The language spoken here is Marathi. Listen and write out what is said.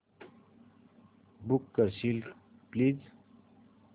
बुक करशील प्लीज